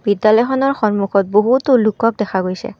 বিদ্যালয়খনৰ সন্মুখত বহুতো লোকক দেখা গৈছে।